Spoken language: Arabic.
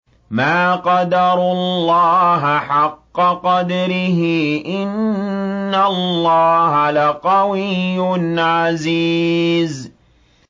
مَا قَدَرُوا اللَّهَ حَقَّ قَدْرِهِ ۗ إِنَّ اللَّهَ لَقَوِيٌّ عَزِيزٌ